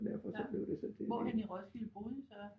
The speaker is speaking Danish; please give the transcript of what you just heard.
Ja hvorhenne i Roskilde boede I så?